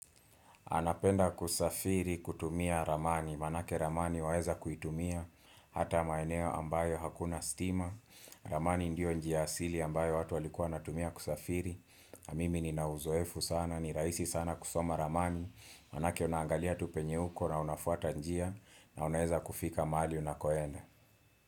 Napenda kusafiri kutumia ramani, maanake ramani waeza kuitumia Hata maeneo ambayo hakuna stima ramani ndio njia asili ambayo watu walikuwa wanatumia kusafiri mimi nina uzoefu sana, ni rahisi sana kusoma ramani Maanake unaangalia tu penye uko na unafuata njia na unaeza kufika mahali unakoenda.